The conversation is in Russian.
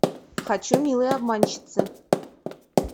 хочу милые обманщицы